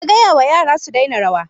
Ka gaya wa yara su daina rawa!